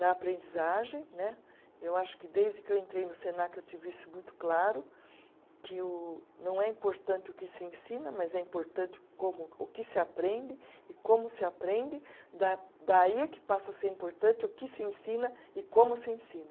Na aprendizagem né, eu acho que desde que eu entrei no Senac eu tive isso muito claro, que o, não é importante o que se ensina, mas é importante como, o que se aprende e como se aprende, da daí é que passa a ser importante o que se ensina e como se ensina.